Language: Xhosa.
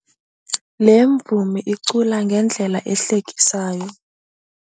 Le mvumi icula ngendlela ehlekisayo.